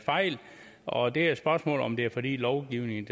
fejl og det er et spørgsmål om om det er fordi lovgivningen